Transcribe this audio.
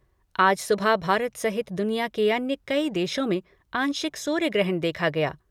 आज सुबह भारत सहित दुनिया के अन्य कई देशों में आंशिक सूर्य ग्रहण देखा गया।